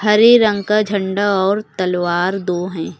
हरे रंग का झंडा और तलवार दो है।